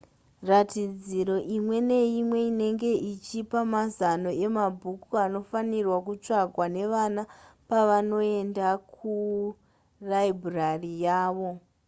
ratidziro imwe neimwe inenge ichipa mazano emabhuku anofanirwa kutsvakwa nevana pavanoenda kuraibhurari yavo